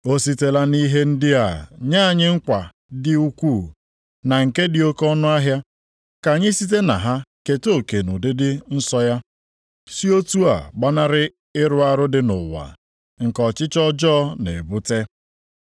O sitela nʼihe ndị a nye anyị nkwa dị ukwuu na nke dị oke ọnụahịa, ka anyị site na ha keta oke nʼụdịdị nsọ ya, si otu a gbanarị ịrụ arụ dị nʼụwa, nke ọchịchọ ọjọọ na-ebute.